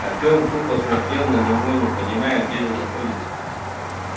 артём тупо смотрел на него не понимая где же находится